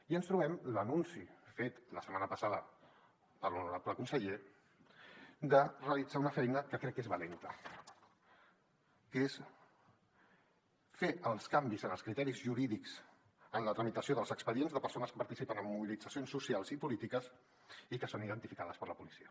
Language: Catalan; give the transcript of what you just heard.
i ens trobem l’anunci fet la setmana passada per l’honorable conseller de realitzar una feina que crec que és valenta que és fer els canvis en els criteris jurídics en la tramitació dels expedients de persones que participen en mobilitzacions socials i polítiques i que són identificades per la policia